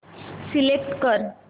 select कर